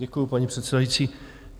Děkuju, paní předsedající.